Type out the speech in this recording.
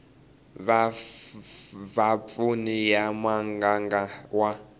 va vapfuni ya muganga wa